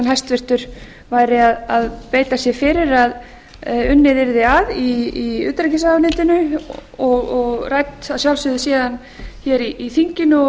hæstvirtur væri að beita sér fyrir að unnið yrði að í utanríkisráðuneytinu og rædd að sjálfsögðu síðan hér í þinginu og